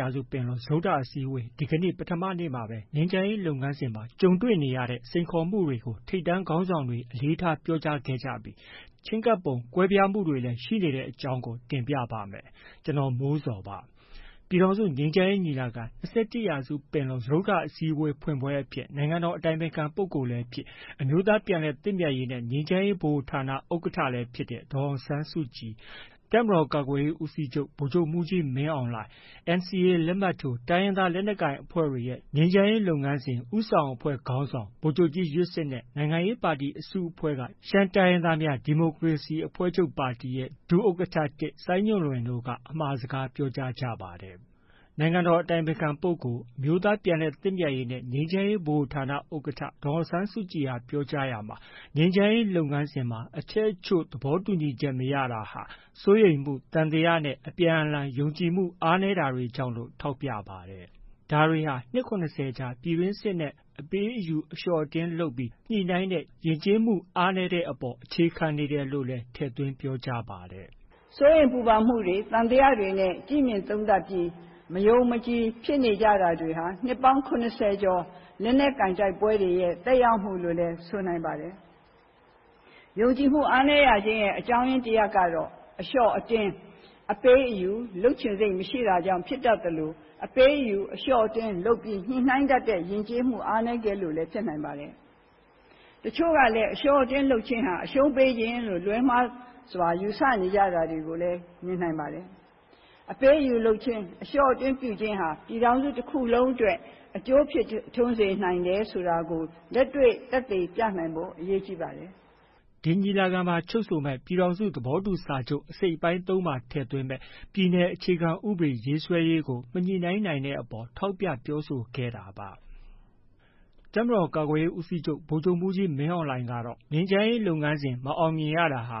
ရာစုပင်လုံ စတုတ္ထအစည်းအဝေး ဒီကနေ့ ပထမနေ့မှာပဲ ငြိမ်းချမ်းရေးလုပ်ငန်းစဉ်မှာ ကြုံတွေ့နေရတဲ့ စိန်ခေါ်မှုတွေကို ထိပ်တန်းခေါင်းဆောင်တွေ အလေးထား ပြောကြားခဲ့ကြပြီး ချဉ်းကပ်ပုံကွဲပြားမှုတွေလည်း ရှိနေတဲ့အကြောင်းကို တင်ပြပါမယ်။ ဗွီအိုအေမြန်မာပိုင်းသတင်းထောက် ကိုမိုးဇော်က သတင်းပေးပို့ထားပါတယ်။ ပြည်ထောင်စုငြိမ်းချမ်းရေးညီလာခံ- ၂၁ ရာစုပင်လုံ စတုတ္ထအစည်းအဝေး ဖွင့်ပွဲအဖြစ် နိုင်ငံတော် အတိုင်ပင်ခံပုဂ္ဂိုလ်လည်းဖြစ် အမျိုးသားပြန်လည်သင့်မြတ်ရေးနဲ့ ငြိမ်းချမ်းရေးဗဟိုဌာန ဥက္ကဋ္ဌလည်းဖြစ်တဲ့ ဒေါ်အောင်ဆန်းစုကြည်၊ တပ်မတော်ကာကွယ်ရေးဦးစီးချုပ် ဗိုလ်ချုပ်မှုးကြီးမင်းအောင်လှိုင်၊ NCA လက်မှတ်ထိုး တိုင်းရင်သား လက်နက်ကိုင်အဖွဲ့တွေရဲ့ ငြိမ်းချမ်းရေး လုပ်ငန်းစဉ် ဦးဆောင်အဖွဲ့ ခေါင်းဆောင် ဗိုလ်ချုပ်ကြီး ယွတ်စစ်၊ နိုင်ငံရေးပါတီအစုအဖွဲ့က ရှမ်းတိုင်းရင်းသားများ ဒီမိုကရေစီအဖွဲ့ချုပ် ဒုဥက္ကဋ္ဌ ၁ စိုင်းညွန့်လွင့် အမှာစကားပြောကြားကြပါတယ်။ နိုင်ငံတော် အတိုင်ပင်ခံပုဂ္ဂိုလ်၊ အမျိုးသားပြန်လည်သင့်မြတ်ရေးနဲ့ ငြိမ်းချမ်းရေးဗဟိုဌာန ဥက္ကဋ္ဌ ဒေါ်အောင်ဆန်းစုကြည် ပြောကြားရာမှာ ငြိမ်းချမ်းရေးလုပ်ငန်းစဉ်မှာ အချက်အချို့ သဘောတူညီချက် မရတာဟာ စိုးရိမ်မှု၊ သံသယနဲ့ အပြန်အလှန် ယုံကြည်မှု အားနည်းတွေကြောင့်လို့ ထောက်ပြပါတယ်။ ဒါဟာ နှစ် ၇၀ ကြာ ပြည်တွင်းစစ်နဲ့ အပေး၊ အယူ၊ အလျှော့၊ အတင်းလုပ်ပြီး ညှိနှိုင်းတဲ့ ယဉ်ကျေးမှု အားနည်းမှုတွေအပေါ် အခြေခံနေတယ်လို့လည်း ထည့်သွင်းပြောကြားပါတယ်။ “စိုးရိမ်ပူပန်မှုတွေ၊ သံသယနဲ့ သုံးသပ်ပြီး မယုံမကြည်ဖြစ်နေတာတွေဟာ နှစ်ပေါင်း ၇၀ ကျော် လက်နက်ကိုင် တိုက်ပွဲတွေရဲ့ သက်ရောက်မှုလို့လည်း ဆိုနိုင်ပါတယ်။ ယုံကြည်မှုအားနည်းရခြင်းရဲ့ အကြောင်းတစ်ရပ်က အလျှော့-အတင်း၊ အပေး-အယူ လုပ်ချင်စိတ် မရှိတာကြောင့် ဖြစ်တတ်သလို အပေး-အယူ၊ အလျှော့-အတင်း လုပ်ပြီး ညှိနှိုင်းတတ်တဲ့ ယဉ်ကျေးမှုအားနည်းခဲ့လို့လည်း ဖြစ်နိုင်ပါတယ်။ တချို့ကလည်း အလျှော့-အတင်းလုပ်ခြင်းဟာ အရှုံးပေးခြင်းလို့ လွဲမှားစွာ ယူဆနေတာတွေလည်း ရှိနိုင်ပါတယ်။ အပေး-အယူလုပ်ခြင်း၊ အလျှော့-အတင်း ပြုခြင်းကြောင့် ပြည်ထောင်စု တစ်ခုလုံးအတွက် အကျိုးရှိစေတယ်ဆိုတာကို လက်တွေ့ သက်သေပြနိုင်ဖို့ အရေးကြီးပါတယ်။” ဒီညီလာခံမှာ ချုပ်ဆိုမဲ့ ပြည်ထောင်စုသဘောတူစာချုပ် အစိတ်အပိုင်း၃မှာ ထည့်သွင်းမယ့် ပြည်နယ်အခြေခံဥပဒေ ရေးဆွဲရေးကို မညှိနှိုင်းနိုင်ခဲ့တဲ့အပေါ် ထောက်ပြပြောဆိုခဲ့တာပါ။ တပ်မတော်ကာကွယ်ရေးဦးစီးချုပ် ဗိုလ်ချုပ်မှုးကြီး မင်းအောင်လှိုင်ကတော့ ငြိမ်းချမ်းရေးလုပ်ငန်းစဉ် မအောင်မြင်ရတာဟာ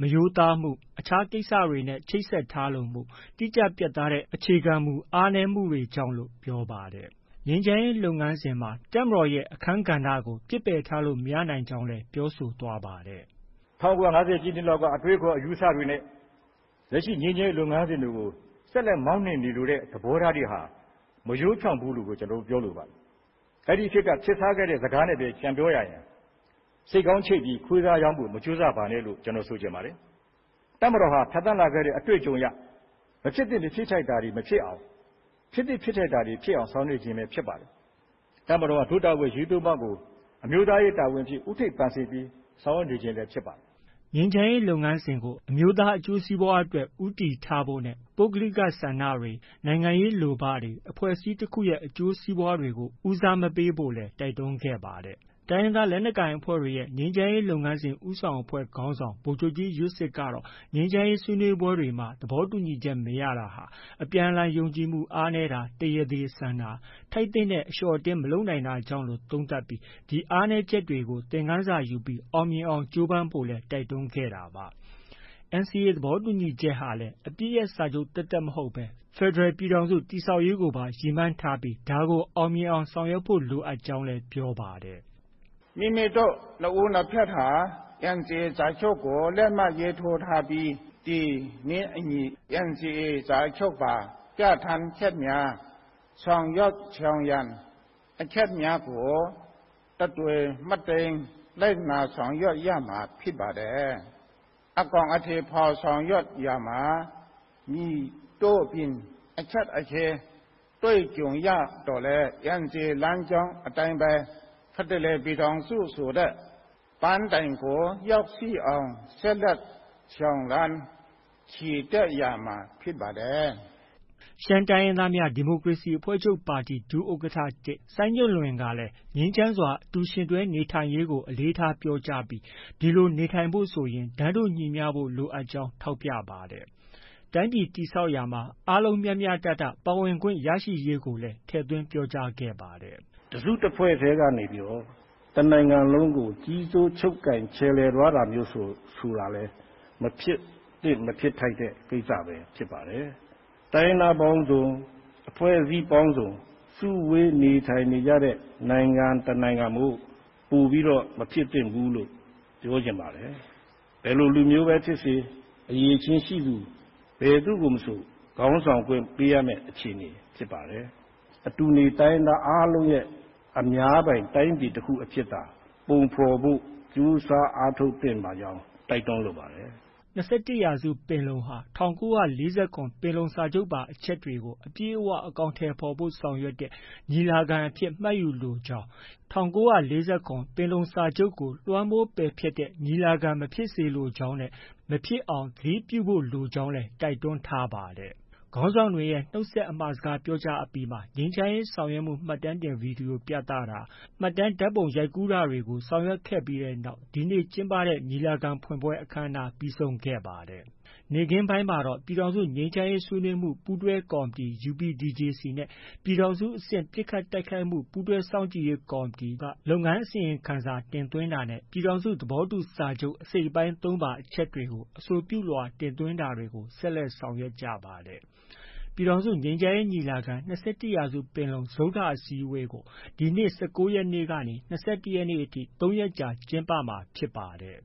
မရိုးသားမှု၊ အခြားကိစ္စတွေနဲ့ ချိတ်ဆက်ထားလိုမှု၊ တိကျပြတ်သားတဲ့အခြေခံမူတွေ အားနည်းမှုတွေကြောင့်လို့ ပြောပါတယ်။ ငြိမ်းချမ်းရေးလုပ်ငန်းစဉ် တပ်မတော်ရဲ့ အခန်းကဏ္ဍကို ပစ်ပယ်ထားလို့ မရနိုင်ကြောင်းလည်း ပြောဆိုသွားပါတယ်။ “၁၉၅ဝ ပြည့်နှစ်လောက်က အတွေးအခေါ် အယူအဆတွေနဲ့ လက်ရှိငြိမ်းချမ်းရေးလုပ်ငန်းစဉ်တွေကို ဆက်လက် မောင်းနှင်နေလိုတဲ့ သဘောထားတွေဟာ မရိုးဖြောင့်ဘူးလို့ဘဲ ကျနော်တို့ ပြောလိုပါတယ်။ အဲ့ဒီခေတ်က ခေတ်စားခဲ့တဲ့စကားနဲ့ပဲ ပြန်ပြောရရင် “ဆိတ်ခေါင်းချိတ်ပြီး ခွေးသားရောင်းဖို့ မကြိုးစားပါနဲ့။” လို့ပဲ ဆိုချင်ပါတယ်။ တပ်မတော်ဟာ ဖြတ်သန်းလာခဲ့တဲ့ အတွေ့အကြုံအရ မဖြစ်သင့်မဖြစ်ထိုက်တာ တွေမဖြစ်အောင်၊ ဖြစ်သင့်ဖြစ်ထိုက်တာတွေဖြစ်အောင် ဆောင်ရွက်နေခြင်း ဖြစ်ပါတယ်။ တပ်မတော်ဟာ ဒို့တာဝန်အရေး ၃ ပါးကို အမျိုးသားရေး တာဝန်အဖြစ် ဦးထိပ်ပန်ဆင်ပြီး ဆောင်ရွက်နေခြင်းပဲဖြစ်ပါတယ်။” ငြိမ်းချမ်းရေးလုပ်ငန်းစဉ်ကို အမျိုးသားအကျိုးစီးပွားအတွက် ဦးတည်ချက်ထားဖို့၊ ပုဂ္ဂလိကဆန္ဒတွေ၊ နိုင်ငံရေး လိုဘတွေ၊ အဖွဲ့အစည်းတစ်ခုရဲ့ အကျိုးစီးပွားတွေကို ဦးစားမပေးဖို့လည်း တိုက်တွန်းခဲ့ပါတယ်။ တိုင်းရင်သားလက်နက်ကိုင်အဖွဲ့တွေရဲ့ ငြိမ်းချမ်းရေး လုပ်ငန်းစဉ် ဦးဆောင်အဖွဲ့ ခေါင်းဆောင် ဗိုလ်ချုပ်ကြီး ယွတ်စစ်ကတော့ ငြိမ်းချမ်းရေး ဆွေးနွေးပွဲတွေမှာ သဘောတူညီချက် မရတာတွေဟာ အပြန်အလှန်ယုံကြည်မှု အားနည်းတာ၊ တရားသေဆန်တာ၊ ထိုက်သင့်တဲ့ အလျှော့အတင်းမလုပ်နိုင်တာကြောင့်လို့ သုံးသပ်ကြောင်းနဲ့ ဒီအားနည်းချက်တွေကို သင်ခန်းစာယူပြီး အောင်မြင်အောင် ကြိုးပမ်းဖို့လည်း တိုက်တွန်းခဲ့တာပါ။ NCA သဘောတူညီချက်ဟာလည်း အပစ်ရပ်စာချုပ် သက်သက်မဟုတ်ဘဲ ဖက်ဒရယ်ပြည်ထောင်စု တည်ဆောက်ရေးကိုပါ ရည်မှန်းပြီး အောင်မြင်အောင် ဆောင်ရွက်ဖို့လိုကြောင်းလည်း ပြောပါတယ်။ “ဒီလိုဆောင်ရွက်နိုင်ဖို့အတွက် NCA စာချုပ်မှာ လမ်းပြမြေပုံ ၇ ဆင့်ကို တိတိကျကျ သတ်မှတ်ပေးထားပြီး ဖြစ်ပါတယ်။ NCA စာချုပ် အကောင်အထည်ဖော်ဆောင်ရွက်ရာမှာ လမ်းပြမြေပုံ ၇ ဆင့်အတိုင်း မလွဲမသွေ ဆောင်ရွက်သွားရမှာ ဖြစ်ပါတယ်။ ” ရှမ်းတိုင်းရင်းသားများ ဒီမိုကရေစီအဖွဲ့ချုပ် ဒုဥက္ကဋ္ဌ ၁ စိုင်းညွှန်လွင်တို့ကလည်း ငြိမ်းချမ်းစွာ အတူယှဉ်တွဲနေထိုင်ရေးကို အလေးထားပြောကြားပြီး ဒီလို နေထိုင်ဖို့ ဆိုရင် တန်းတူညီမျှဖို့ လိုအပ်ကြောင်း ထောက်ပြပါတယ်။ တိုင်းပြည်တည်ဆောက်ရာမှာ အားလုံးမျှမျှတတ ပါဝင်ခွင့်ရရေးကိုလည်း ထည့်သွင်း ပြောကြားခဲ့ပါတယ်။ “တစ်စု တစ်ဖွဲ့ထဲက နိုင်ငံတစ်ခုလုံးကို ကြီးစိုး ချုပ်ကိုင် ခြယ်လှယ်သွားတာမျိုးဆိုတာလည်း မဖြစ်သင့် မဖြစ်ထိုက်တဲ့ ကိစ္စပဲ ဖြစ်ပါတယ်။ တိုင်းရင်းသားပေါင်းစုံ၊ အဖွဲ့အစည်းပေါင်းစုံ စုဝေးနေထိုင်ကြတဲ့ နိုင်ငံတစ်နိုင်ငံမို့ ပိုပြီး မဖြစ်သင့်ဘူးလို့ ပြောချင်ပါတယ်။ ဘယ်လိုလူမျိုးပဲ ဖြစ်ပါစေ၊ အရည်အချင်းရှိသူ ဘယ်သူမဆို ခေါင်းဆောင်ခွင့် ပေးရမယ့် အခြေအနေ ဖြစ်ပါတယ်။ အတူနေ တိုင်းရင်းသားအားလုံးရဲ့ အများပိုင် တိုင်းပြည်တစ်ခုအဖြစ်သာ ပုံဖော်ဖို့ ကြိုးစားအားထုတ်သင့်ပါတယ်လို့ တိုက်တွန်းလိုပါတယ်။” ၂၁ ရာစုပင်လုံဟာ ၁၉၄၇ ပင်လုံစာချုပ်ပါ အချက်တွေကို အပြည့်အ၀ အကောင်အထည်ဖော်ဖို့ ဆောင်ရွက်တဲ့ ညီလာခံအဖြစ် မှတ်ယူလိုကြောင်း၊ ၁၉၄၇ ပင်လုံစာချုပ်ကို လွှမ်းမိုးပယ်ဖျက်တဲ့ ညီလာခံမဖြစ်စေလိုကြောင်းနဲ့ မဖြစ်အောင် သတိပြုဖို့လိုကြောင်းလည်း တိုက်တွန်းထားပါတယ်။ ခေါင်းဆောင်တွေရဲ့ နုတ်ခွန်းဆက် အမှာစကားပြောကြားအပြီးမှာ ငြိမ်းချမ်းရေးဆောင်ရွက်မှု မှတ်တမ်းဗွီဒီယို ပြသတာ၊ မှတ်တမ်းဓါတ်ပုံရိုက်ကူးတာတွေ ပြီးဆုံးတဲ့နောက် ဒီနေ့ ကျင်းပတဲ့ညီလာခံ ဖွင့်ပွဲ အခမ်းအနားပြီးဆုံးခဲ့ပါတယ်။ နေ့ခင်းပိုင်းမှာတော့ ပြည်ထောင်စု ငြိမ်းချမ်းရေးဆွေးနွေးမှု ပူးတွဲကော်မတီ UPDJC နဲ့ ပြည်ထောင်စုအဆင့် ပစ်ခတ်တိုက်ခိုက်မှု ပူးတွဲစောင့်ကြည့်ရေးကော်မတီက လုပ်ငန်းအစီရင်ခံစာတင်သွင်းတာနဲ့ ပြည်ထောင်စု သဘောတူစာချုပ် အစိတ်အပိုင်း ၃ပါ အချက်တွေကို အဆိုပြုလွှာတင်သွင်းတာတွေကို ဆက်လက် ဆောင်ရွက်ခဲ့ပါတယ်။ ပြည်ထောင်စုငြိမ်းချမ်းရေးညီလာခံ - ၂၁ ရာစုပင်လုံ စတုတ္ထအစည်းအဝေးကို ဒီနေ့ ၁၉ ရက်နေ့ကနေ ၂၁ ရက်နေ့အထိ ၃ ရက် ကျင်းပမှာ ဖြစ်ပါတယ်